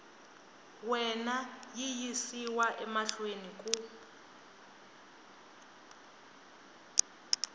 wena yi yisiwa mahlweni ku